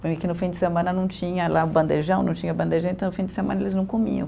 Que no fim de semana não tinha lá o bandejão, não tinha bandejão, então o fim de semana eles não comiam.